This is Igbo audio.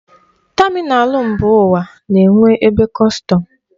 Tamịnal mba ụwa na-enwe ebe kọstọm.